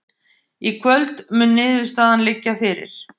Í kvöld mun niðurstaðan liggja fyrir